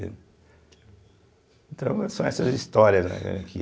Então, são essas histórias né que...